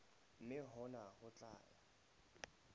mme hona ho tla ya